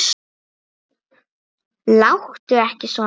Láttu ekki svona.